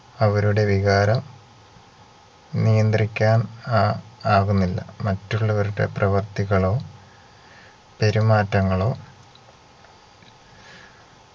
അവരുടെ വികാരം നിയന്ത്രിക്കാൻ ആ ആകുന്നില്ല മറ്റുള്ളവരുടെ പ്രവർത്തികളോ പെരുമാറ്റങ്ങളോ